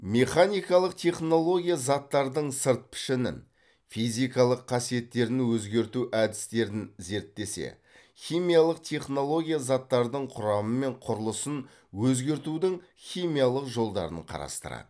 механикалық технология заттардың сырт пішінін физикалық қасиеттерін өзгерту әдістерін зерттесе химиялық технология заттардың құрамы мен құрылысын өзгертудің химиялық жолдарын қарастырады